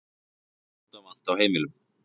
Eldvörnum ábótavant á heimilum